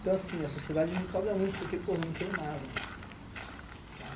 Então, assim, a sociedade me cobra muito porque, porra, eu não tenho nada, sabe?